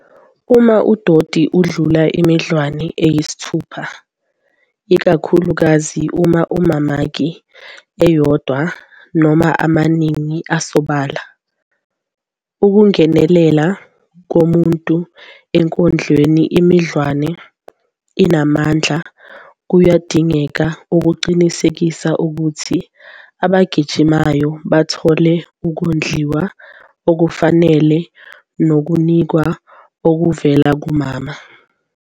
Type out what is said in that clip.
Uma udoti udlula imidlwane eyisithupha, ikakhulukazi uma kunamamaki eyodwa noma amaningi asobala, ukungenelela komuntu ekondleni imidlwane enamandla kuyadingeka ukuqinisekisa ukuthi abagijimayo bathola ukondliwa okufanele nokunakwa okuvela kumama.